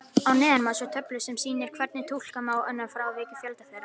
Að neðan má sjá töflu sem sýnir hvernig túlka má frávik í fjölda þeirra.